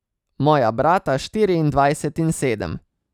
Moja brata štiriindvajset in sedem.